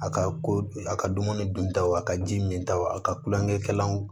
A ka ko a ka dumuni duntaw a ka ji min ta wo a ka kulonkɛ kɛlaw